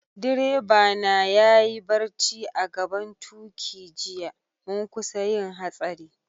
Direba na ya yi barci a'gaban tuki jiya, mun kusa yin hatsari.